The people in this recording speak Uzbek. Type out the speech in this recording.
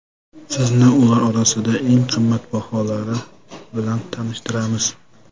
Sizni ular orasidan eng qimmatbaholari bilan tanishtiramiz.